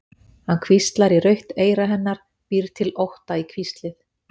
Hann hvíslar í rautt eyra hennar, býr til ótta í hvíslið.